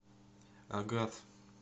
агат